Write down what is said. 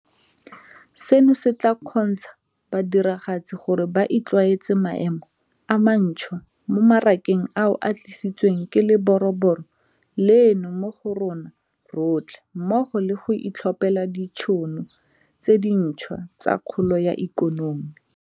Seno se tla kgontsha badiragatsi gore ba itlwaetse maemo a mantšhwa mo marakeng ao a tlisitsweng ke leroborobo leno mo go rona rotlhe mmogo le go ithopela ditšhono tse dintšhwa tsa kgolo ya ikonomi.